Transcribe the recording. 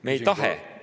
Küsin korra.